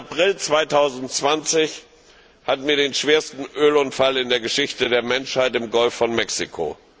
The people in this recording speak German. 20. April 2010 hatten wir den schwersten Ölunfall in der Geschichte der Menschheit im Golf von Mexiko.